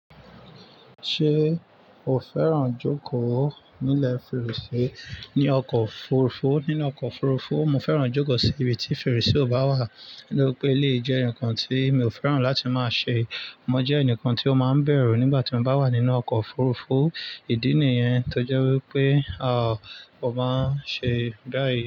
Ṣé o fẹ́ràn jókòó nílẹ̀ fèrèsé ní ọkọ̀ òfurufú? Nínú ọkọ̀ òfurufú, mo fẹ́ràn jókòó sí ibi tí fèrèsé ò bá wà nítorí pé lé e jẹ́ ǹkan tí mi ò fẹ́ràn láti máa ṣe. Mo jẹ́ ẹnìkan tí ó máa ń bẹ̀rù nígbà tí mo bá wà nínú ọkọ̀ òfurufú. Ìdí nìyẹn tó jẹ́ wípé, à, mo máa ń ṣe báyìí.